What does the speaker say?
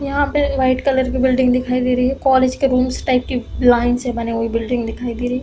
यहाँ पे white colour की बिल्डिंग दिखाई दे रही है। कॉलेज के रुम्स टाइप की लाइन से बनी हुई बिल्डिंग दिखाई दे रही है।